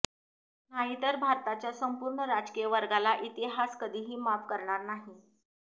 नाहीतर भारताच्या संपूर्ण राजकीय वर्गाला इतिहास कधीही माफ करणार नाही